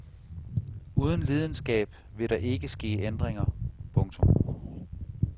Uden lidenskab vil der ikke ske ændringer. punktum